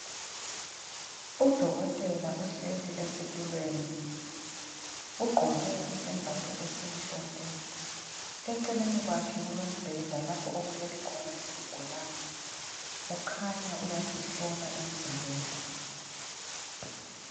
Udokotela uhleli esitulweni, ugqoke isembatho esimhlophe. Eceleni kwakhe kulombheda lapho okulele khona isigulane. Ukhanya uyasihlola emzimbeni.